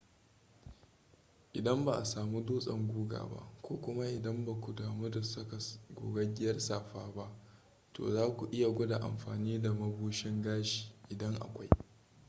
idan ba a samu dutsen guga ba ko kuma idan ba ku damu da saka gogaggiyar safa ba to za ku iya gwada amfani da mabushin gashi idan akwai